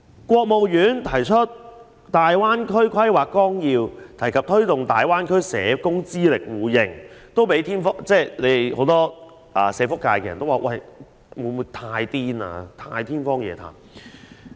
國務院頒布《粵港澳大灣區發展規劃綱要》，提及推動大灣區社工資歷互認，也被社福界人士認為是天方夜譚的想法。